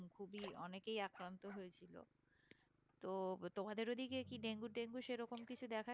খুবই অনেকেই আক্রান্ত হয়েছিল তো তোমাদের ওদিকে কি ডেঙ্গু টেঙ্গু সেরকম কিছু দেখা